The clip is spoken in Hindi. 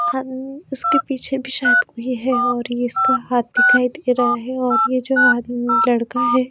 हम उसके पीछे भीं शायद कोई हैं और इसका हाथ दिखाई दे रहा हैं और ये जो आदमी लड़का हैं।